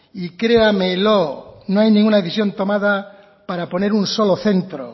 y créamelo no hay ninguna decisión tomada para poner un solo centro